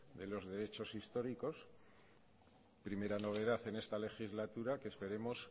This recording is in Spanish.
de los derechos históricos primera novedad en esta legislatura que esperemos